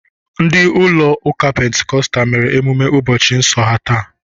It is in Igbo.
Ndi ụlọ ụka pentikostal mere emume ụbọchị nsọ ha taa.